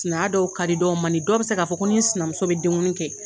Sinaya dɔw ka di, dɔw man di, dɔw bɛ se k' fɔ ko ni sinamuso bɛ denguni kɛ.